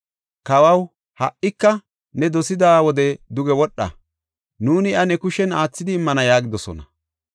Kawaw, ha77ika ne dosida wode duge wodha; nuuni iya ne kushen aathidi immana” yaagidosona.